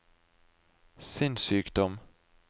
sinnssykdom